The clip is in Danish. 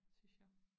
Synes jeg